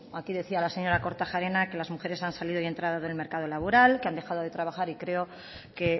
aquí decía la señora kortajarena que las mujeres han salido y entrado del mercado laboral que han dejado de trabajar y creo que